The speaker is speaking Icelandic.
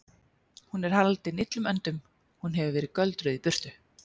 Hún er haldin illum öndum. hún hefur verið göldruð í burtu.